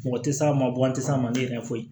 Mɔgɔ tɛ s'a ma bɔn an tɛ s'a ma ne yɛrɛ foyi